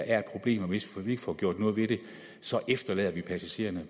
er et problem og at hvis vi ikke får gjort noget ved det lader vi passagererne